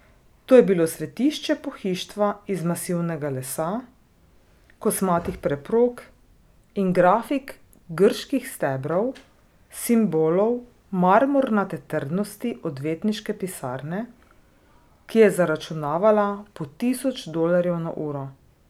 To je bilo svetišče pohištva iz masivnega lesa, kosmatih preprog in grafik grških stebrov, simbolov marmornate trdnosti odvetniške pisarne, ki je zaračunavala po tisoč dolarjev na uro.